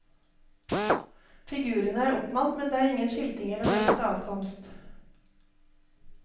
Figurene er oppmalt men det er ingen skilting eller ordnet adkomst.